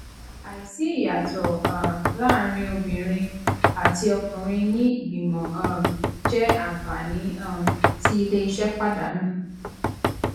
àìsí ìyàtọ um láàárín obìnrin àti ọkùnrin ní ìgbìmọ um jẹ àǹfààní um tí iléeṣẹ pàdánù